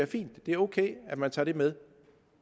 fint og det er ok at man tager det med